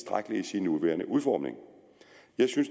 ja endnu